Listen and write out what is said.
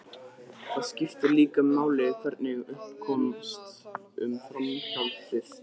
Það skiptir líka máli hvernig upp komst um framhjáhaldið.